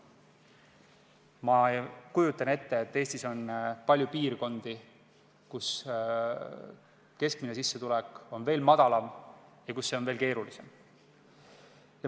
Ma kujutan ette, et Eestis on palju piirkondi, kus keskmine sissetulek on väga väike ja kus toimetulek on väga keeruline.